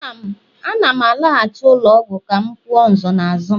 Ana m alaghachi ụlọ ọgwụ ka m kwuo nsonaazụ m.